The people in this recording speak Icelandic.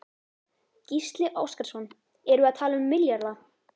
Gísli Óskarsson: Erum við að tala um milljarða?